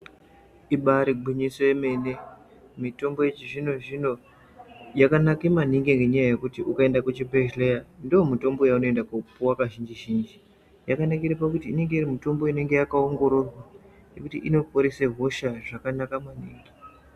Ibaari gwinyiso yemene, mitombo yechizvinozvino yakanake maningi ngenyaya yekuti ukaenda kuchibhehlera ,ndomutombo yeunoenda koopuwa kazhinji-zhinji. Yakanakire pakuti inenge iri mitombo inenge yakaongororwa yekuti inoporesa hosha zvakanaka maningi.